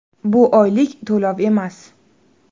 Bu oylik to‘lov emas.